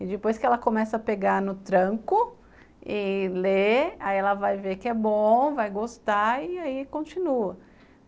E depois que ela começa a pegar no tranco e ler, aí ela vai ver que é bom, vai gostar e aí continua.